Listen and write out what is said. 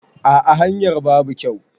A'a hanyar babu kyau.